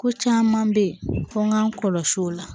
Ko caman bɛ yen ko n k'an kɔlɔsi o la